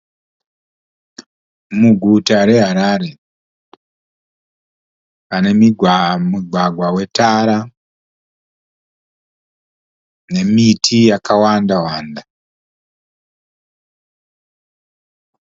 Muguta reHarare pane mugwagwa wetara nemiti yakawanda wanda